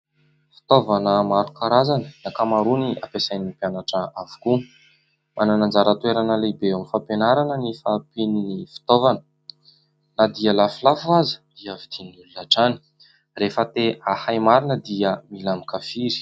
Fitaovana maro karazana, ny ankamaroany ampiasain'ny mpianatra avokoa. Manana anjara-toerana lehibe amin'ny fampianarana ny fahampian'ny fitaovana. Na dia lafolafo aza dia vidian'ny olona hatrany. Rehefa te ahay marina dia mila mikafiry.